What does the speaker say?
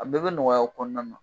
A bɛ be nɔgɔya o kɔnɔna na